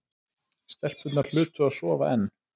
Stelpurnar hlutu að sofa enn.